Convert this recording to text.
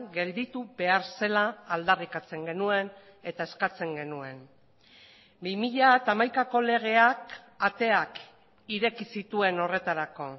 gelditu behar zela aldarrikatzen genuen eta eskatzen genuen bi mila hamaikako legeak ateak ireki zituen horretarako